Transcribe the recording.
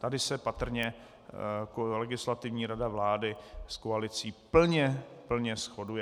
Tady se patrně Legislativní rada vlády s koalicí plně shoduje.